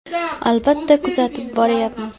Albatta, kuzatib boryapmiz.